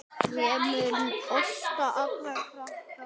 Ég prumpa á alla krakka.